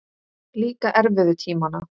Líka erfiðu tímana.